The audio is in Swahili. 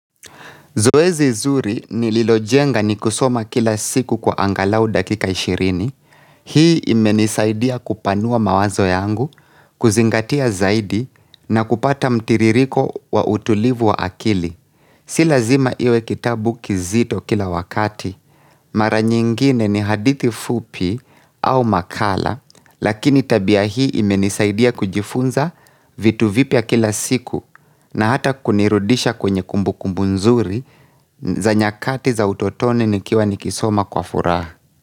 Zoezi zuri ni lilojenga ni kusoma kila siku kwa angalau dakika ishirini. Hii imenisaidia kupanua mawazo yangu, kuzingatia zaidi na kupata mtiririko wa utulivu wa akili. Si lazima iwe kitabu kizito kila wakati. Mara nyingine ni hadithi fupi au makala, lakini tabia hii imenisaidia kujifunza vitu vipya kila siku na hata kunirudisha kwenye kumbu kumbu nzuri za nyakati za utotoni nikiwa nikisoma kwa furaha.